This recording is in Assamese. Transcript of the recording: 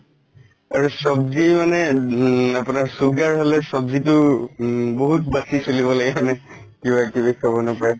সব্জি মানে sugar হলে সব্জিটো বহুত বাচি চলিব লাগে হয় নে কিবা কিবি খাব নাপাই